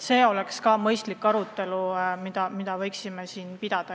See oleks ka mõistlik arutelu, mida võiksime siin pidada.